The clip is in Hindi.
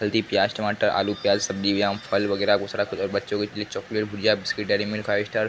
हल्दी प्याज टमाटर आलू प्याज सब्जियाँ फल वगेरह और दुसरा कुछ और बच्चों के लिए चॉकलेट गुड़िया biscuit Dairy Milk Five Star --